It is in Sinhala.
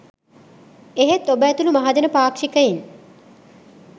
එහෙත් ඔබ ඇතුළු මහජන පාක්ෂිකයින්